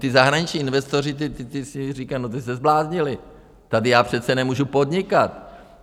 Ti zahraniční investoři, ti si říkají, no ti se zbláznili, tady já přece nemůžu podnikat.